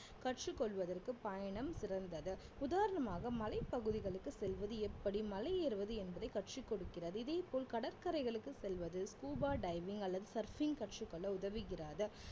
கற்று கொள்வதற்கு பயணம் சிறந்தது உதாரணமாக மலைப்பகுதிகளுக்கு செல்வது எப்படி மலையேறுவது என்பதை கற்றுக் கொடுக்கிறது இதே போல் கடற்கரைகளுக்கு செல்வது scuba diving அல்லது surfing கற்றுக்கொள்ள உதவுகிறது